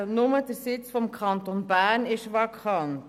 Nur der Sitz des Kantons Bern ist vakant.